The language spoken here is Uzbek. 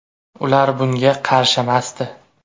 Ular bunga qarshimasdi.